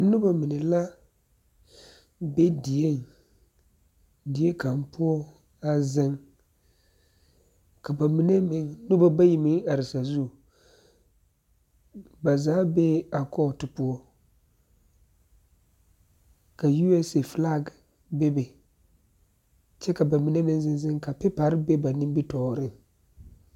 Noba mine la be dieŋ kaŋ poɔ a ziŋ ka noba bayi meŋ are sazu ba zaa be a kɔɔto poɔ ka USA filag meŋ bebe kyɛ ka ba mine meŋ ziŋziŋ ka piipare be ba nimi tɔɔriŋ.